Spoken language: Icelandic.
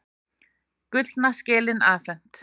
Gullna skelin afhent